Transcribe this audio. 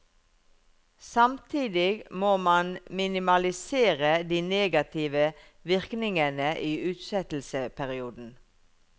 Samtidig må man minimalisere de negative virkningene i utsettelsesperioden.